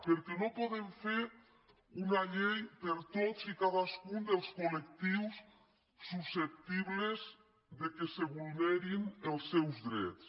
perquè no podem fer una llei per a tots i cadascun dels collectius susceptibles que es vulnerin els seus drets